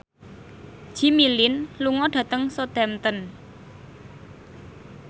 Jimmy Lin lunga dhateng Southampton